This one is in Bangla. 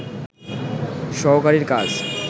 সহকারীর কাজ